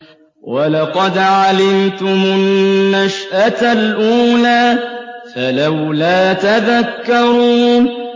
وَلَقَدْ عَلِمْتُمُ النَّشْأَةَ الْأُولَىٰ فَلَوْلَا تَذَكَّرُونَ